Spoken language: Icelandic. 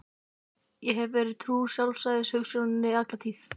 Ég hef verið trúr sjálfstæðishugsjóninni alla tíð.